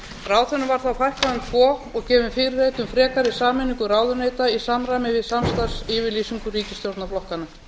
ráðherrum var þá fækkað um tvo og gefin fyrirheit um frekari sameiningu ráðuneyta í samræmi við samstarfsyfirlýsingu ríkisstjórnarflokkanna